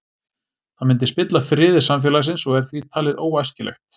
Það myndi spilla friði samfélagsins og er því talið óæskilegt.